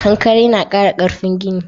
Kankare na ƙara ƙarfin gini.